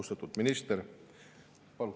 Austatud minister!